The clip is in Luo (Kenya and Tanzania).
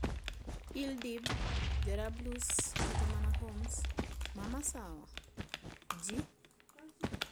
Idlib, Jarablus, kata mana Homs ma Masawa? â€ gi